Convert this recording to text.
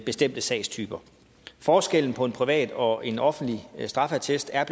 bestemte sagstyper forskellen på en privat og en offentlig straffeattest er